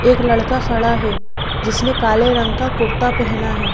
एक लड़का खड़ा है जिसने काले रंग का कुर्ता पहना है।